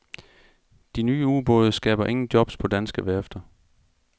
De nye ubåde skaber ingen jobs på danske værfter.